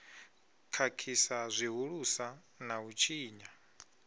khakhisa zwihulusa na u tshinya